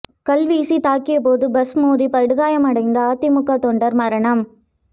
கல் வீசி தாக்கியபோது பஸ் மோதி படுகாயமடைந்த அதிமுக தொண்டர் மரணம்